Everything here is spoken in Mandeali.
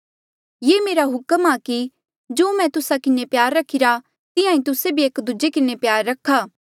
ये मेरा हुक्म आ कि जो मैं तुस्सा किन्हें प्यार रखिरा तिहां ई तुस्से भी एक दूजे किन्हें प्यार रखा